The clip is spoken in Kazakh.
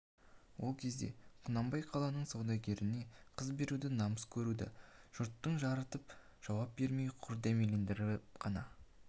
ол кезде құнанбай қаланың саудагеріне қыз беруді намыс көрді жұрттың жарытып жауап бермей құр дәмелендіріп қана